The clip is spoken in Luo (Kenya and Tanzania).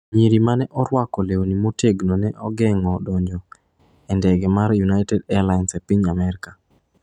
Nyiri ma ne orwako lewni motegno ne ogeng’o donjo e ndege mar United Airlines e piny Amerka